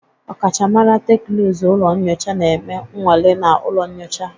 Ọkachamara teknụzụ ụlọ nyocha na-eme nnwale na ụlọ nyocha